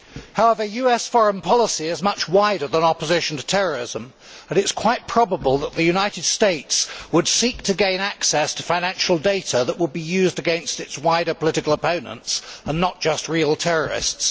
However, US foreign policy is much wider than opposition to terrorism and it is quite probable that the United States would seek to gain access to financial data that would be used against its wider political opponents, and not just real terrorists.